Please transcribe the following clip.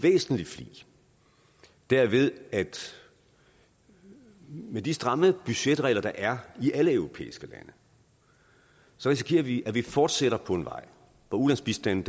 væsentlig flig derved at med de stramme budgetregler der er i alle europæiske lande risikerer vi at vi fortsætter på en vej hvor ulandsbistanden